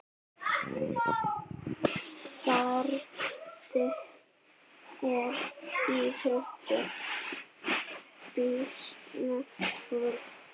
Branda er íþrótt býsna forn.